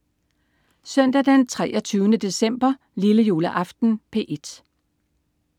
Søndag den 23. december. Lillejuleaften - P1: